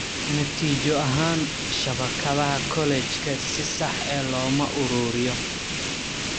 Natiijo ahaan, shabakadaha kolajka si sax ah looma uruuriyo.